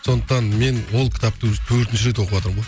сондықтан мен ол кітапты уже төртінші рет оқыватырмын ғой